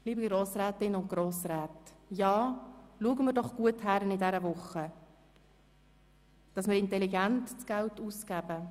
Liebe Grossrätinnen und Grossräte, schauen wir diese Woche doch genau hin, damit wir das Geld intelligent ausgeben.